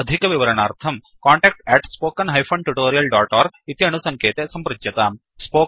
अधिकविवरणार्थं contact spoken tutorialorg इति अणुसङ्केते सम्पृच्यताम्